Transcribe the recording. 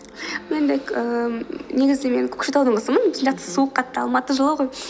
негізінде мен көкшетаудың қызымын біздің жақта суық қатты алматы жылы ғой